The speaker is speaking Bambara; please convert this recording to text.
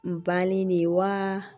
N banni de wa